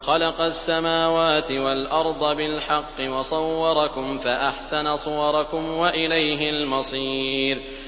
خَلَقَ السَّمَاوَاتِ وَالْأَرْضَ بِالْحَقِّ وَصَوَّرَكُمْ فَأَحْسَنَ صُوَرَكُمْ ۖ وَإِلَيْهِ الْمَصِيرُ